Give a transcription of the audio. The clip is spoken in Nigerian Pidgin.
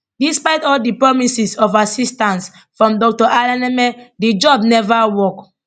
despite all di promises of assistance from dr alaneme di job neva work